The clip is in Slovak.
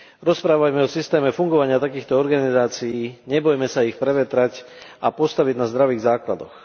Rozprávajme o systéme fungovania takýchto organizácií, nebojme sa ich prevetrať a postaviť na zdravých základoch.